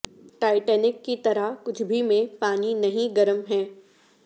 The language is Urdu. ٹائٹینک کی طرح کچھ بھی میں پانی نہیں گرم ہے